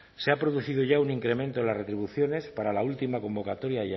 se ha producido ya un incremento en las retribuciones para la última convocatoria